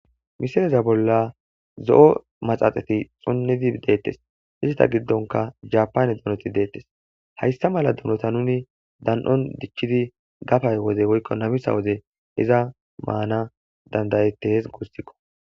misireza bolla zo7o maxaxati xonnidi deettes hizita giddonka japane dunoti deettes hayssa mala dunota nuni dan7on dichchidi gafay woze woykko namisa woze iza maana dandayette hees guussikko.